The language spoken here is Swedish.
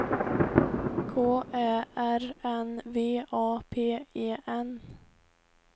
K Ä R N V A P E N